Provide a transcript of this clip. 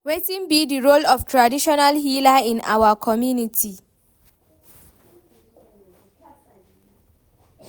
wetin be di role of traditional healer in our community?